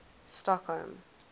stockholm